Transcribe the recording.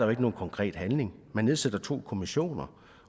er nogen konkret handling man nedsætter to kommissioner